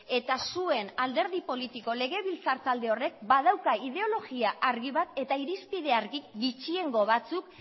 eta zuen alderdi politiko legebiltzar talde horrek badauka ideologia argi bat eta irizpide argi gutxiengo batzuk